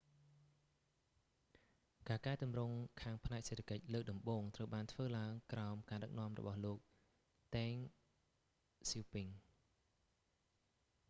ការកែទម្រង់ខាងផ្នែកសេដ្ឋកិច្ចលើកដំបូងត្រូវបានធ្វើឡើងក្រោម ការដឹកនាំរបស់លោក តេង ស៊ាវពិង deng xiaoping